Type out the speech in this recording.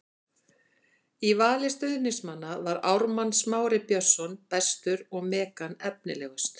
Í vali stuðningsmanna var Ármann Smári Björnsson bestur og Megan efnilegust.